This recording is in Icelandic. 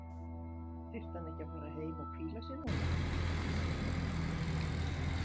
Þyrfti hann ekki að fara heim og hvíla sig núna?